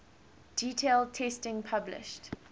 detailed testing published